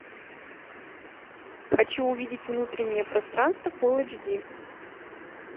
хочу увидеть внутреннее пространство фул эйч ди